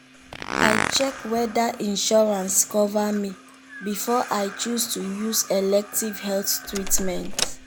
i check whether insurance cover me before i chose to use elective health treatment.